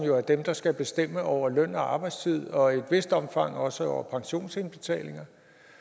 jo er dem der skal bestemme over løn og arbejdstid og i et vist omfang også over pensionsindbetalinger